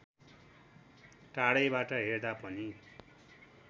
टाढैबाट हेर्दा पनि